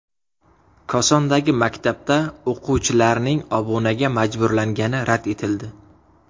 Kosondagi maktabda o‘quvchilarning obunaga majburlangani rad etildi.